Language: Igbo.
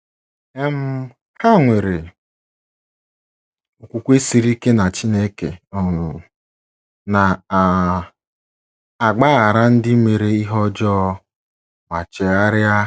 um Ha nwere okwukwe siri ike na Chineke um na um - agbaghara ndị mere ihe ọjọọ ma chegharịa.